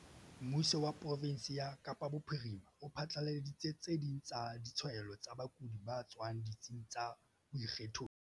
Mmuso wa profensi ya Kapa Bophirima o phatlaladitse tse ding tsa ditshwaelo tsa bakudi ba tswang ditsing tsa boikgethollo.